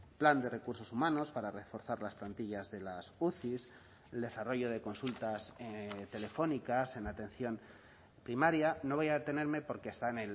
plan de recursos humanos para reforzar las plantillas de las uci el desarrollo de consultas telefónicas en atención primaria no voy a detenerme porque está